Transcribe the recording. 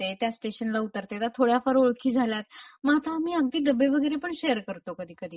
ते त्या स्टेशनला उतरतात आता थोड्याफार ओळखी झाल्यात. म आता आम्ही डब्बे वगैरे पण शेअर करतो कधी कधी.